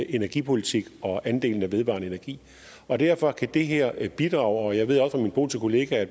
energipolitik og andelen af vedvarende energi og derfor kan det her bidrage jeg ved også at min polske kollega